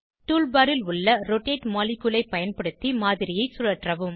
tool bar ல் உள்ள rotate molecule ஐ பயன்படுத்தி மாதிரியை சுழற்றவும்